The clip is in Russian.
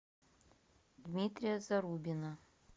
дмитрия зарубина